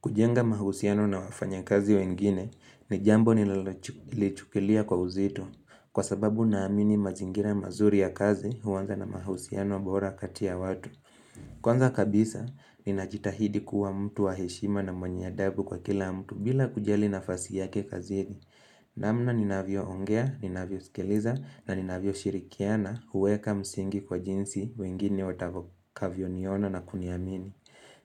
Kujenga mahusiano na wafanya kazi wengine ni jambo ninalolichukilia kwa uzito kwa sababu naamini mazingira mazuri ya kazi huanza na mahusiano bora kati ya watu. Kwanza kabisa, ninajitahidi kuwa mtu wa heshima na mwenye adabu kwa kila mtu bila kujali nafasi yake kazini. Namna ninavyoongea, ninavyosikiliza na ninavyoshirikiana huweka msingi kwa jinsi wengine watakavyoniona na kuniamini.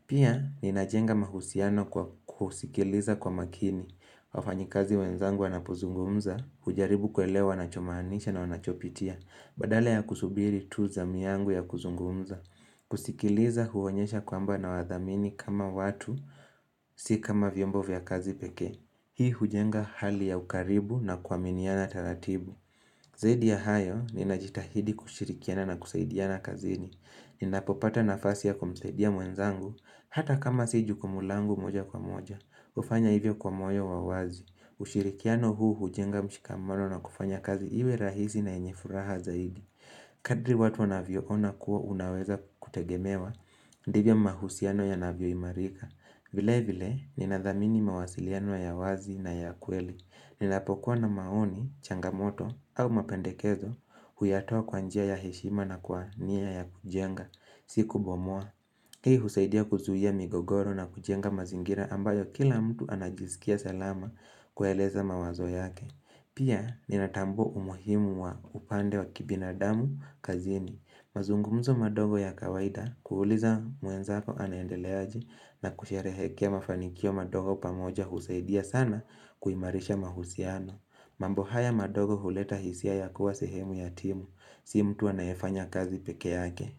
Pia ninajenga mahusiano kwa kusikiliza kwa makini wafanyi kazi wenzangu wanapozungumza, kujaribu kuelewa wanachomaanisha na wanachopitia Badala ya kusubiri tu zamu yangu ya kuzungumza kusikiliza huonyesha kwamba nawathamini kama watu Si kama vyombo vya kazi pekee Hii hujenga hali ya ukaribu na kuaminiana taratibu Zaidi ya hayo ninajitahidi kushirikiana na kusaidiana kazini Ninapopata nafasi ya kumsadia mwenzangu, hata kama si jukumu langu moja kwa moja, hufanya hivyo kwa moyo wa wazi ushirikiano huu hujenga mshikamano na kufanya kazi iwe rahisi na yenye furaha zaidi Kadri watu wanavyoona kuwa unaweza kutegemewa, ndivyo mahusiano yanavyoimarika vile vile, ninadhamini mawasiliano ya wazi na ya kweli Ninapokuwa na maoni, changamoto au mapendekezo huyatoa kwa njia ya heshima na kwa nia ya kujenga. Si kubomoa. Hii husaidia kuzuia migogoro na kujenga mazingira ambayo kila mtu anajisikia salama kueleza mawazo yake. Pia ninatambua umuhimu wa upande wa kibinadamu kazini. Mazungumzo madogo ya kawaida kuuliza mwenzako anaendele aje na kusherehekea mafanikio madogo pamoja husaidia sana kuimarisha mahusiano. Mambo haya madogo huleta hisia ya kuwa sehemu ya timu, sio mtu anayefanya kazi peke yake.